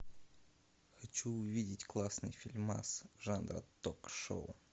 хочу увидеть классный фильмас жанра ток шоу